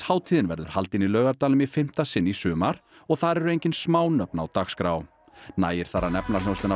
hátíðin verður haldin í Laugardalnum í fimmta sinn í sumar og þar eru engin smá nöfn á dagskrá nægir þar að nefna hljómsveitina